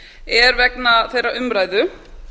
er vegna þeirrar umræðu